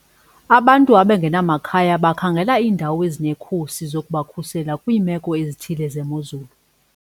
Abantu abangenamakhaya bakhangela iindawo ezinekhusi zokubakhusela kwiimeko ezithile zemozulu.